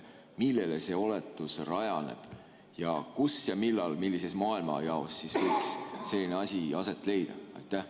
Millel see oletus rajaneb ning kus ja millal, millises maailmajaos võiks selline asi aset leida?